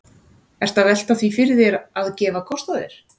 Ertu að velta því fyrir þér að, að gefa kost á þér?